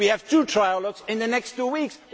We have two trialogues in the next two weeks.